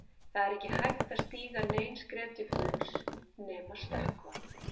Það er ekki hægt að stíga nein skref til fulls nema stökkva.